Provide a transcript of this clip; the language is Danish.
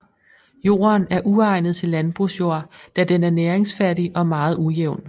Jorden er uegnet til landbrugsjord da den er næringsfattig og meget ujævn